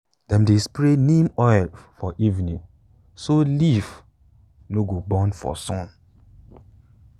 dem dey spray neem oil for evening so leaf no go burn for sun.